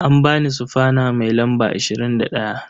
An ba ni sufana mai lamba 21.